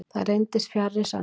það reyndist fjarri sanni